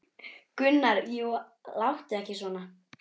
Gunnar: Jú, láttu ekki svona.